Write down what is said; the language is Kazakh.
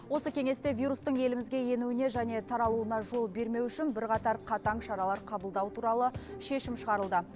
осы кеңесте вирустың елімізге енуіне және таралуына жол бермеу үшін бірқатар қатаң шаралар қабылдау туралы шешім шығарылды